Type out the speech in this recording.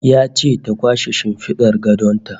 Ya ce ta kwashe shimfidar gadon ta